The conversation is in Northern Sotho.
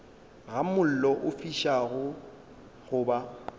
ga mollo o fišago goba